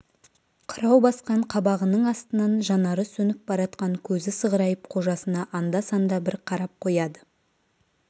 қырау басқан қабағының астынан жанары сөніп баратқан көзі сығырайып қожасына анда-санда бір қарап қояды